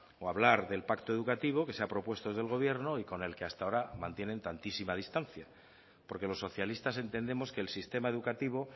o a hablar del pacto educativo que se ha propuesto desde el gobierno y con el que ahora mantienen tantísima distancia porque los socialistas entendemos que el sistema educativo